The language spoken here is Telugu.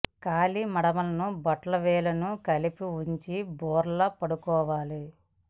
కాలి మడమలను బొటన వే ళ్లను కలిపి వుంచి బోర్లా పడుకోవాలి